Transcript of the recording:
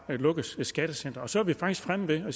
lukkes et skattecenter og så er vi faktisk fremme ved at